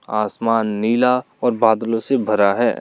आसमान नीला और बादलों से भरा है।